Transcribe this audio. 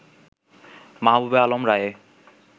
মাহবুবে আলম রায়ে